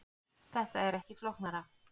Þetta er ekki flóknara